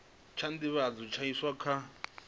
tsha nḓivhadzo tsha iswa kha